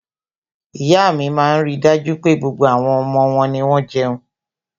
iya mi maa n rí dájú pé, gbogbo àwọn omo won ni won jeun